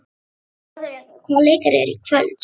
Þjóðrekur, hvaða leikir eru í kvöld?